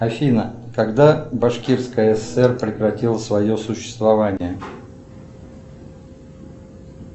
афина когда башкирская сср прекратила свое существование